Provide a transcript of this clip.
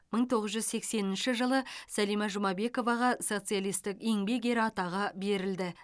мың тоғыз жүз сексенінші жылы сәлима жұмабековаға социалистік еңбек ері атағы берілді